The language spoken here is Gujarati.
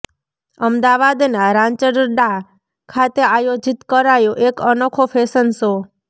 અમદાવાદના રાંચરડા ખાતે આયોજીત કરાયો એક અનોખો ફેશન શો